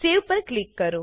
Saveપર click કરો